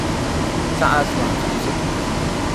Sacas wa cabsi cabsi.